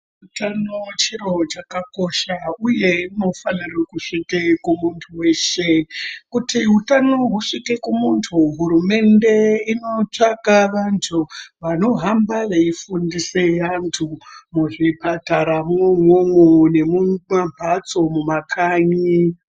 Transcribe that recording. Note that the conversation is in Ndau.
Utano chiro chakakosha uye unofanirwa kusvika kumuntu weshe. Kuti hutano husvike kumuntu hurumende inotsvaka vantu vanohamba veyifundise antu muzvipataramwo umwomwo nemumambatso mumakanyi.